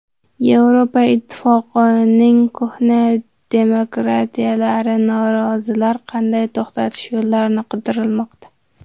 Yevropa Ittifoqining qo‘hna demokratiyalari norozilarni qanday to‘xtatish yo‘llarini qidirmoqda.